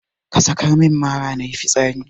Ka sakar min mara nayi fitsari.